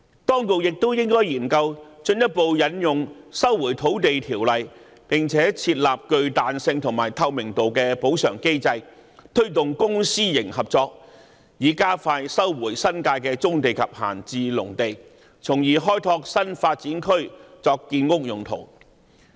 當局也應研究進一步引用《收回土地條例》，並設立具彈性和透明度的補償機制，推動公私營合作，以加快收回新界的棕地及閒置農地，從而開拓新發展區作建屋用途。